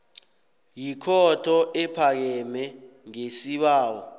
yikhotho ephakemeko ngesibawo